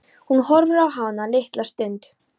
Hún horfir á hana litla stund.